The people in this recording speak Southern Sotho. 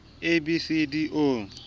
a b c d o